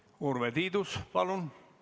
Urve Tiidus, palun!